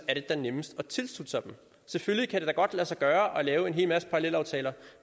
er det da nemmest at tilslutte sig dem selvfølgelig kan det da godt lade sig gøre at lave en hel masse parallelaftaler